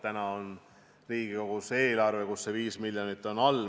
Täna on Riigikogus eelarve, kus on sees 5 miljonit.